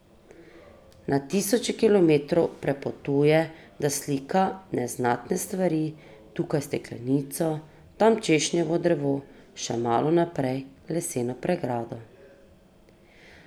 Na tisoče kilometrov prepotuje, da slika neznatne stvari, tukaj steklenico, tam češnjevo drevo, še malo naprej leseno pregrado.